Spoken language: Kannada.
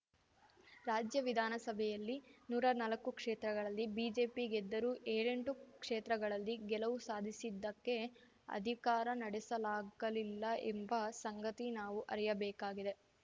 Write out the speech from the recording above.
ರಾಜ್ಯ ವಿಧಾನ ಸಭೆಯಲ್ಲಿ ನೂರಾ ನಾಲಕ್ಕು ಕ್ಷೇತ್ರಗಳಲ್ಲಿ ಬಿಜೆಪಿ ಗೆದ್ದರೂ ಏಳೆಂಟು ಕ್ಷೇತ್ರಗಳಲ್ಲಿ ಗೆಲುವು ಸಾಧಿಸಿದ್ದಕ್ಕೆ ಅಧಿಕಾರ ನಡೆಸಲಾಗಲಿಲ್ಲ ಎಂಬ ಸಂಗತಿ ನಾವು ಅರಿಯಬೇಕಾಗಿದೆ